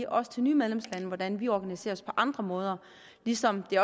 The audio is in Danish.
også til nye medlemslande hvordan vi organiserer os på andre måder ligesom det